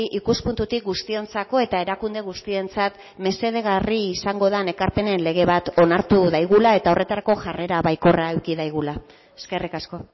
ikuspuntutik guztiontzako eta erakunde guztiontzat mesedegarri izango den ekarpenen lege bat onartu dezagula eta horretarako jarrera baikorra eduki dezagula eskerrik asko